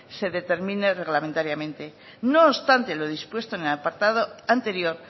se determine reglamentariamente no obstante lo dispuesto en el apartado anterior